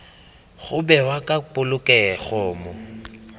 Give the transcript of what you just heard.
go bewa ka polokego mo